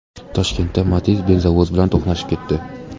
Toshkentda Matiz benzovoz bilan to‘qnashib ketdi.